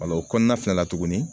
o kɔnɔna fɛnɛ la tuguni